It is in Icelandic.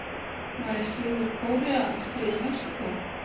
Nær Suður-Kórea að stríða Mexíkó?